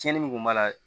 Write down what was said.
Tiɲɛni min kun b'a la